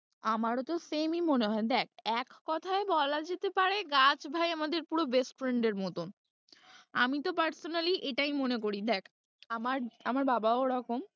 আমারও তো same ই মনে হয়, দেখ এককথায় বলা যেতে পারে গাছ ভাই আমাদের পুরো best friend এর মতন, আমি তো personally এটাই মনে করি, দেখ আমার, আমার বাবাও ওরকম।